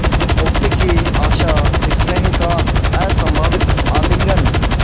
मुक्ति की आशास्नेह का असंभावित आलिंगन